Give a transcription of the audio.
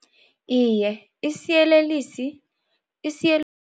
Iye, isiyelelisi